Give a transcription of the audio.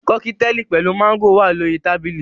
Kọ́kítelì pẹ̀lú máńgò wà lórí tábìlì